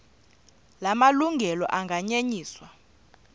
la malungelo anganyenyiswa